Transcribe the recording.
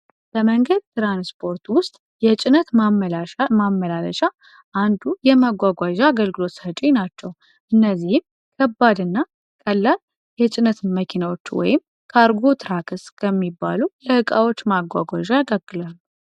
በመንገድ ትራንስፖርቱ ውስጥ የጭነት መመላለሻ እና የመጓጓዣ አገልግሎት ሰጪ ናቸው። ከነዚህም አይነቶች ቀላል የጭነት እና ቀላል የካርጎ ከሚባሉት ቀላል የጭነት ማጓጓዣ ያገለግላል።